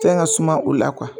Fɛn ka suma o la